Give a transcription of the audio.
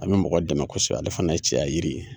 A bɛ mɔgɔ dɛmɛ kosɛbɛ ale fana ye cɛya yiri ye.